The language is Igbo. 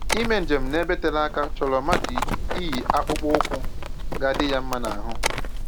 Ime njem n'ebe tere aka chọrọ mmadụ iyi akpụkpọ ụkwụ ga-adị ya mma n'ahụ